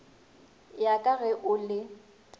ya ka ge o le